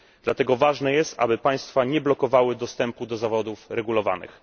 Dlatego ważne jest, aby państwa nie blokowały dostępu do zawodów regulowanych.